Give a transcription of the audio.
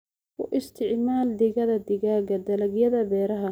Ku isticmaal digada digaaga dalagyada beeraha.